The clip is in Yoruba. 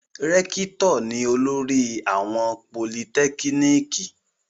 Rẹ́kítọ̀ ni olórí àwọn politẹ́kíníkì.